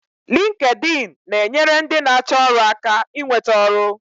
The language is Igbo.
Linkedin na-enyere ndị na-achọ ọrụ aka inweta ọrụ